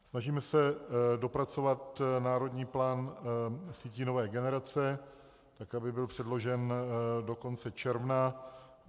Snažíme se dopracovat Národní plán sítí nové generace, tak aby byl předložen do konce června.